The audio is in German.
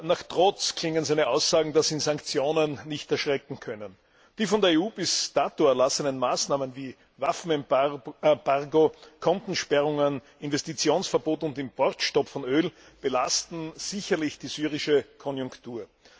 Nach Trotz klingen seine Aussagen, dass ihn Sanktionen nicht erschrecken können. Die von der EU bis dato erlassenen Maßnahmen wie Waffenembargo, Kontensperrungen, Investitionsverbot und Importstop von Öl belasten sicherlich die syrische Konjunktur.